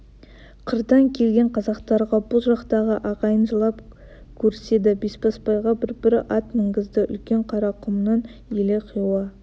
қырдан келген қазақтарға бұл жақтағы ағайын жылап көріседі бесбасбайға бір-бір ат мінгізді үлкен қарақұмның елі хиуа